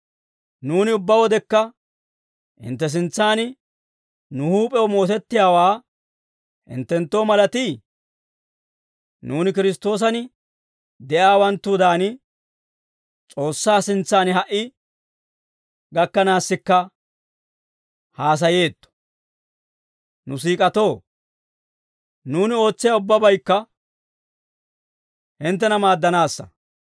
Nuuni ubbaa wodekka hintte sintsaan nu huup'ew mootettiyaawaa hinttenttoo malatii? Nuuni Kiristtoosan de'iyaawanttudan, S'oossaa sintsan ha"i gakkanaassikka haasayeetto. Nu siik'atoo, nuuni ootsiyaa ubbabaykka hinttena maaddanaassa.